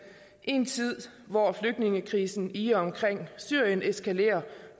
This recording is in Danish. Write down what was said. en tid hvor flygtningekrisen i og omkring syrien eskalerer